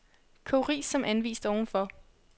Kog ris som anvist ovenfor.